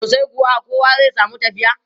Sosai kuwa, kowa zai samu tafiya.